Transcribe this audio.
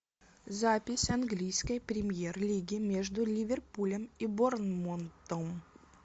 запись английской премьер лиги между ливерпулем и борнмутом